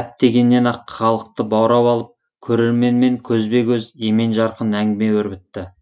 әп дегеннен ақ халықты баурап алып көрерменмен көзбе көз емен жарқын әңгіме өрбітті